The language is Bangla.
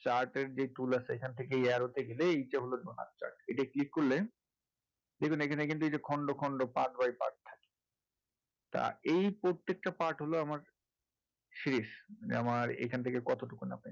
chart যে tool আছে এখান থেকে এই arrow গেলে এইটা হলো donut chart এটায় click করলে দেখুন এখানে কিন্তু এই যে খন্ড খন্ড part by part তা এই প্রত্যেকটা part হলো আমার শেষ মানে আমার এখান থেকে কতটুকু হবে